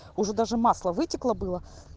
уже даже масло вытекло было